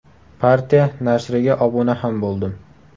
Partiya nashriga obuna ham bo‘ldim.